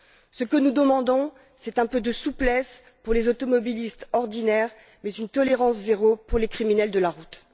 Ce que nous demandons, c'est un peu de souplesse pour les automobilistes ordinaires, mais une tolérance zéro pour les criminels de la route.